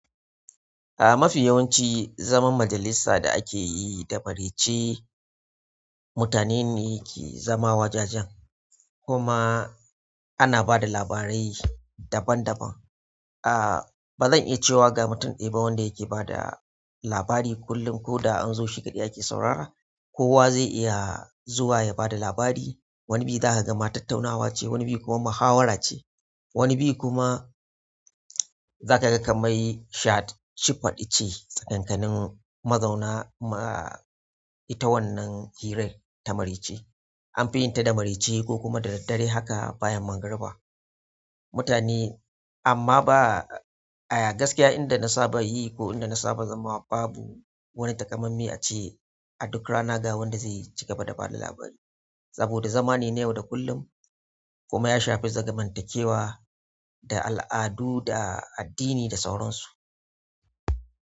A mafi yawanci zaman majalisa da ake yi da marece mutane ne ke zama wajajen kuma ana ba da labarai daban daban. A ba zan iya cewa ga mutum ɗaya ba wanda yake ba da labari kullum ko da an zo shi kaɗai ake saurara. Kowa zai iya zuwa ya ba da labari. Wani bi za ka ga ma tattunawa ce, wani bi kuma muhawara ce, wani bi kuma za ka ga kamar shad shifɗi ce tsakanin mazauna ma ita wannan hirar ta marece an fi yin ta da marece ko kuma da daddare haka bayan magriba. Mutane amma ba a gaskiya inda na saba yi ko inda na saba zama babu wani takamaime a ce a duk rana ga wanda zai cigaba da ba da labari saboda zama ne ya waɗa kullum kuma ya shafi zamantakewa da al'adu da addini da sauran su.